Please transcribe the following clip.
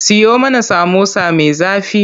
Siyo mana samosa me zafi.